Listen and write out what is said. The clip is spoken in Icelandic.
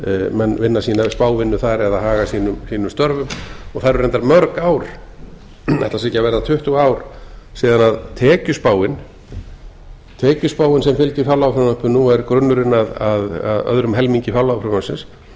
menn vinna sína spávinnu þar eða haga sínum störfum það eru reyndar mörg ár ætli það séu ekki að verða tuttugu ár síðan tekjuspáin sem fylgir fjárlagafrumvarpinu og er grunnurinn að öðrum helmingi fjárlagafrumvarpsins